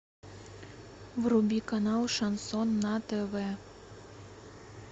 вруби канал шансон на тв